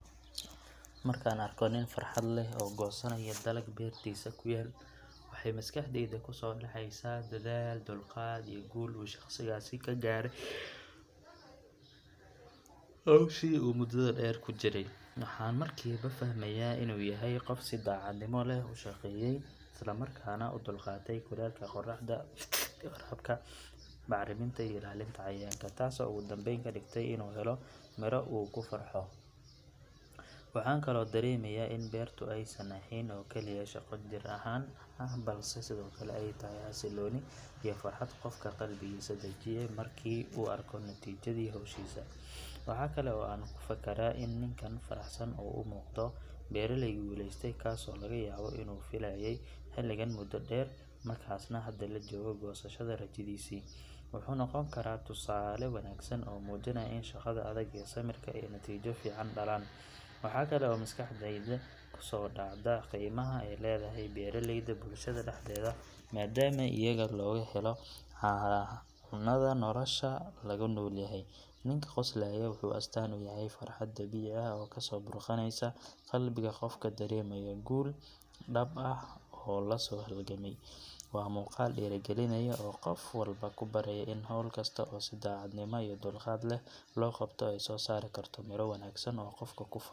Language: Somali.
Markaan arko nin farxad leh oo goosanaya dalag beertiisa ku yaal waxay maskaxdayda kusoo dhacaysaa dadaal, dulqaad iyo guul uu shaqsigaasi ka gaaray hawshii uu muddada dheer ku jiray. Waxaan markiiba fahmayaa inuu yahay qof si daacadnimo leh u shaqeeyay islamarkaana u dulqaatay kulaylka qorraxda, waraabka, bacriminta iyo ilaalinta cayayaanka taasoo ugu dambayn ka dhigtay inuu helo midho uu ku farxo. Waxaan kaloo dareemayaa in beertu aysan ahayn oo keliya shaqo jir ahaan ah balse sidoo kale ay tahay xasillooni iyo farxad qofka qalbigiisa dejiya markii uu arko natiijadii hawshiisa. Waxa kale oo aan ku fakaraa in ninkan faraxsan uu u muuqdo beeraley guulaystay kaasoo laga yaabo inuu filayay xilligan muddo dheer markaasna hadda la joogo goosashada rajadiisii. Waxa uu noqon karaa tusaale wanaagsan oo muujinaya in shaqada adag iyo samirka ay natiijo fiican dhalaan. Waxaa kale oo maskaxdayda kusoo dhacda qiimaha ay leedahay beeralayda bulshada dhexdeeda maadaama iyaga laga helo cunada nolosha lagu noolyahay. Ninka qoslayaa wuxuu astaan u yahay farxad dabiici ah oo kasoo burqanaysa qalbiga qofka dareemaya guul dhab ah oo lasoo halgamay. Waa muuqaal dhiirrigelinaya oo qof walba ku baraya in hawl kasta oo si daacadnimo iyo dulqaad leh loo qabto ay soo saari karto miro wanaagsan oo qofku ku faano.